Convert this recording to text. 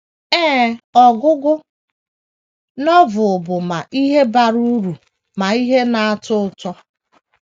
Ee, ọgụgụ Novel bụ ma ihe bara uru ma ihe na - atọ ụtọ.